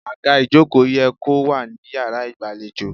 Àga ìjókòó ye kó wà ní yàrá ìgbàlejò.